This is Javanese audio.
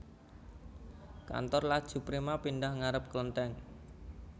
Kantore Laju Prima pindah ngarep klentheng